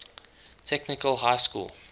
technical high school